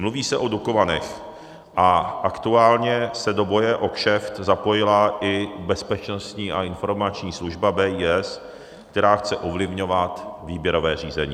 Mluví se o Dukovanech a aktuálně se do boje o kšeft zapojila i Bezpečnostní a informační služba, BIS, která chce ovlivňovat výběrové řízení.